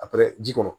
A pɛrɛn ji kɔnɔ